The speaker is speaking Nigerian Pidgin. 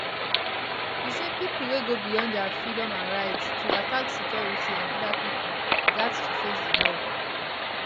he say pipo wey go beyond dia freedom and right to attack security and oda pipo gat to face di law